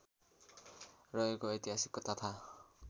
रहेको ऐतिहासिक तथा